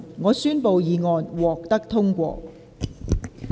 我宣布議案獲得通過。